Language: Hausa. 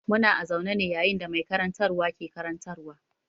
Muna a zaune ne yayin da mai karantarwa ke karantarwa.